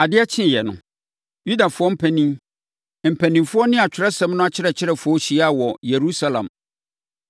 Adeɛ kyeeɛ no, Yudafoɔ mpanin, mpanimfoɔ ne Atwerɛsɛm no akyerɛkyerɛfoɔ hyiaa wɔ Yerusalem.